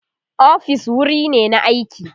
ofis wuri ne na aiki